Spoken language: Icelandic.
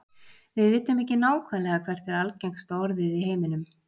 Við vitum ekki nákvæmlega hvert er algengasta orðið í heiminum.